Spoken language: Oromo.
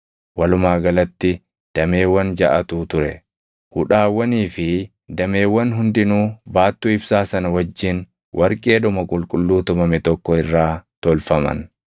Hudhaawwanii fi dameewwan hundinuu baattuu ibsaa sana wajjin warqeedhuma qulqulluu tumame tokko irraa tolfaman.